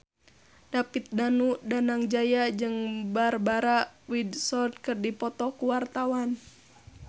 David Danu Danangjaya jeung Barbara Windsor keur dipoto ku wartawan